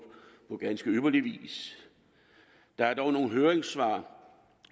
på ganske ypperlig vis der er dog nogle høringssvar